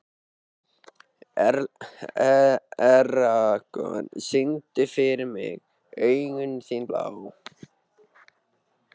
Eragon, syngdu fyrir mig „Augun þín blá“.